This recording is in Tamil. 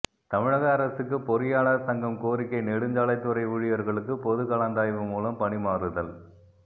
தமிழக அரசுக்கு பொறியாளர் சங்கம் கோரிக்கை நெடுஞ்சாலைத்துறை ஊழியர்களுக்கு பொதுகலந்தாய்வு மூலம் பணிமாறுதல்